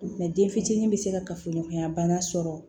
den fitinin be se ka kafoɲɔgɔnya bana sɔrɔ